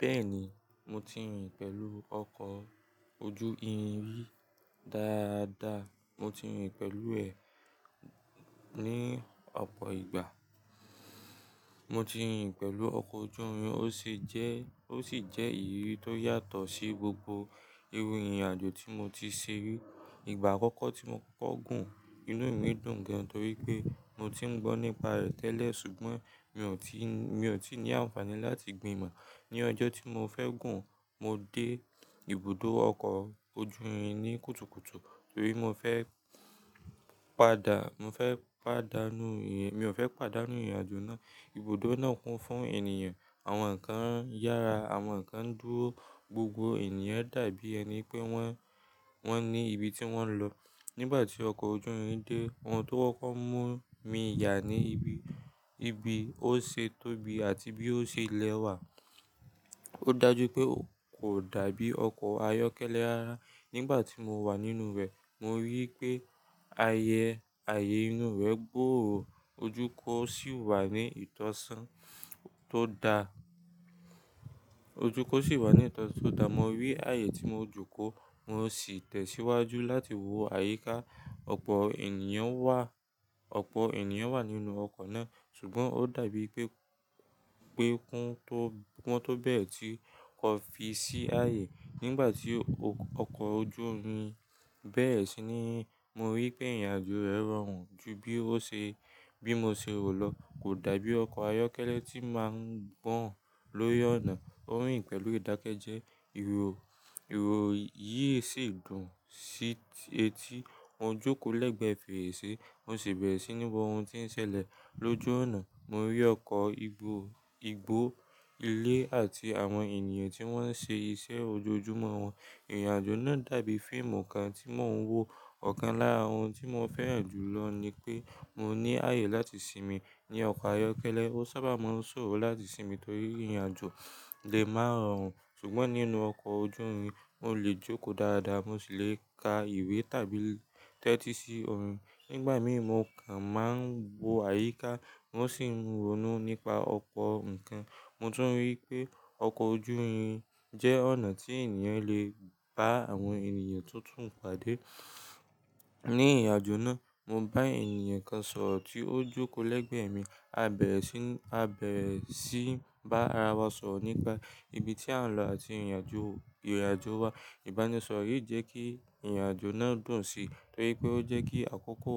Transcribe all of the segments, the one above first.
Bẹ́ẹ̀ni, mo ti rìn pẹ̀lú ọkọ̀ ojú irin rí dáadáa. Mo ti rìn pẹ̀lú ẹ̀ ní ọ̀pọ̀ ìgbà. Mo ti rìn pẹ̀lú ọkọ̀ ojú irin, ó sì jẹ́, ó sì jẹ́ ìrírí tó yàtọ̀ sí gbogbo irú ìrìn àjò tí mo ti ṣe rí. Ìgbà àkọ́kọ́ tí mo kọ́kọ́ gùn, inú mi dùn gan torí pé mo ti ń gbọ́ nípa rẹ̀ tẹ́lẹ̀ ṣùgbọ́n mi ò tí, mi ò tí ní àǹfààní láti gbin ìmọ̀. Ni ọjọ́ tí mo fẹ́ gùn, mo dé ibùdó ọkọ̀ ojú irin ní kùtùkùtù torí mo fẹ́ pàdà, mo fẹ́ pàdánù ìrìn, mi ò fẹ́ pàdánù ìrìn àjò náà. Ibùdó náà kún fún ènìyàn, àwọn nnkan ń yára, àwọn kan ń dúró, gbogbo ènìyàn dàbí ẹni pé wọ́n, wọ́n ní ibi tí wọ́n ń lọ. Nígbà tí ọkọ̀ ojú irin dé, ohun tó kọ́kọ́ mú mi yà ni ibi, ibi ó ṣe tóbi àti bí ó ṣe lẹ́wà. Ó dà jú pé kò dàbí ọkọ̀ ayọ́kẹ́lẹ́ ara. Nígbà tí mo wà nínú rẹ̀, mo rí pé ààyè, ààyè inú rẹ̀ gbòórò, ojú kò sì wà ní ìtọ́sán tó da, ojú kò sì wà ní ìtọ́sán tó da. Mo rí ààyè tí mo jókòó, mo sì tẹ̀síwájú láti wo àyíká. Ọ̀pọ̀ ènìyàn wà, ọ̀pọ̀ ènìyàn wà nínú ọkọ̀ náà ṣùgbọ́n ó dàbí pé, pé kún tó, wọ́n tó bẹ́ẹ̀re tí kọ́ fi sí ààyè. Nígbà tí ọkọ̀ ojú irin bẹ̀rẹ̀ sí ní, mo rí pé ìrìn àjò rẹ̀ rọrùn ju bí ó ṣe, bí mo ṣe rò lọ. Kò dàbí ọkọ̀ ayọ́kẹ́lẹ́ tí máa ń gbọ̀n lórí ọ̀nà. O rìn pẹ̀lú ìdákẹ́ jẹ́, ìró, ìró yìí sì dùn sí etí. Mo jókòó lẹ́gbẹ̀ẹ́ fèrèsé, mo sì bẹ̀rẹ̀ sí ní wo ohun tí ń ṣẹlẹ̀ lójú ọ̀nà. Mo rí ọkọ̀, igbó, igbó, ilé àti àwọn ènìyàn tí wọ́n ń ṣe iṣẹ́ ojoojúmọ́ wọn. Ìrìn àjò náà dàbí fíìmù kan tí mò ń wo. Ọ̀kan lára ohun tí mo fẹ́ràn jù lọ ni pé mo ní ààyè láti sinmi. Ni ọkọ̀ ayọ́kẹ́lẹ́, ó sábà máa ń ṣòro láti sinmi torí ìrìn àjò lè máa rọrùn ṣùgbọ́n nínú ọkọ̀ ojú irin, mo lè jókòó dáadáa, mo sì le ka ìwé tàbí tẹ́tí sí orin. Nígbà mìíràn, mo kàn máa ń wo àyíká, mo sì ń ronú nípa ọ̀pọ̀ nǹkan. Mo tún rí pé ọkọ̀ ojú irin jẹ́ ọ̀nà tí ènìyàn lè bá àwọn ènìyàn tó tún padà. Ní ìrìn àjò náà, mo bá ènìyàn kan sọ̀rọ̀ tí ó jókòó lẹ́gbẹ̀ẹ́ mi. A bẹ̀rẹ̀ sí, a bẹ̀rẹ̀ sí bá ara wa sọ̀rọ̀ nípa ibi tí à ń lọ àti ìrìn àjò, ìrìn àjò wa. Ìbánisọ̀rọ̀ yìí jẹ́ kí ìrìn àjò náà dùn sí torí pé ó jẹ́ kí àkókò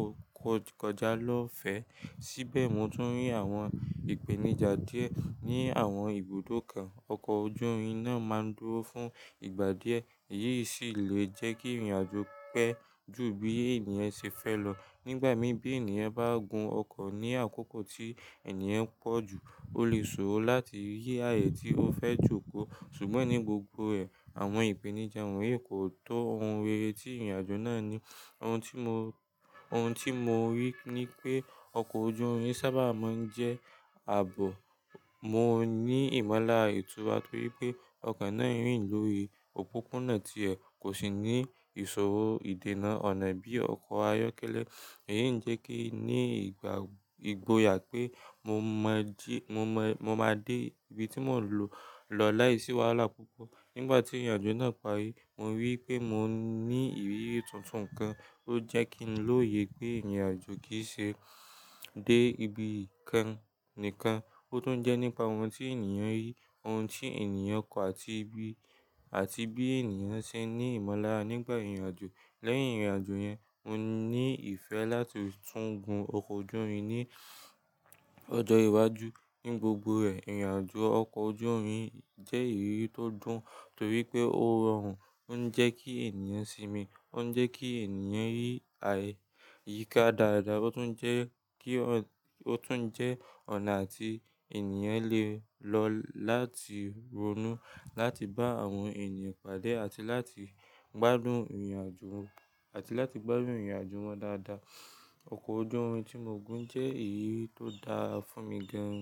kọjá lọ́ fẹ̀. Síbẹ̀ mo tún rí àwọn ìpèníjà díẹ̀ ní àwọn ibùdó kan. Ọkọ̀ ojú irin náà máa ń dúró fún ìgbà díẹ̀, èyí sì lè jẹ́ kí ìrìn àjò pẹ́ ju bí ènìyàn ṣe fẹ́ lọ. Nígbà mìíràn, bí ènìyàn bá gùn ọkọ̀ ní àkókò tí ènìyàn pọ̀ jù, ó lè ṣòro láti rí ààyè tí ó fẹ́ jókòó. Ṣùgbọ́n ní gbogbo ẹ̀, àwọn ìpèníjà wọ̀nyí kò tó ohun rere tí ìrìn àjò náà ní. Ohun tí mo, ohun tí mo rí ni pé ọkọ̀ ojú irin sábà máa ń jẹ́ ààbò. Mo ní ìmọ̀lára ìtura torí pé ọkan náà rìn lórí òpópónà tí ẹ̀ kò sì ní ìsòro ìdènà ọ̀nà bí ọkọ̀ ayọ́kẹ́lẹ́. Èyí ń jẹ́ kí ní ìgbà, ìgboyà pé mo máa jí, mo máa, mo máa dé ibi tí mò ń lọ láìsí wàhálà púpọ̀. Nígbà tí ìrìn àjò náà parí, mo rí i pé mo ní ìrírí tuntun kan. Ó jẹ́ kí n lọ̀yẹ́ pé ìrìn àjò kì í ṣe dé ibi kan nìkan, ó tún jẹ́ nípa ohun tí ènìyàn rí, ohun tí ènìyàn kọ́ àti bí, àti bí ènìyàn ṣe ní ìmọ̀lára nígbà ìrìn àjò. Lẹ́yìn ìrìn àjò yẹn, mo ní ìfẹ́ láti tún gùn ọkọ̀ ojú irin ní ọjọ́ iwájú. Ní gbogbo rẹ̀, ìrìn àjò ọkọ̀ ojú irin jẹ́ ìrírí tó dùn torí pé ó rọrùn, ó ń jẹ́ kí ènìyàn sinmi, ó ń jẹ́ kí ènìyàn rí àyíká dáadáa, ó tún jẹ́ kí, ó tún jẹ́ ọ̀nà tí ènìyàn lè lọ láti ronú, láti bá àwọn ènìyàn pàdé àti láti gbádùn ìrìn àjò, àti láti gbádùn ìrìn àjò wọn dáadáa. Ọkọ̀ ojú irin tí mo gùn jẹ́ ìrírí tó dára fún mi gan.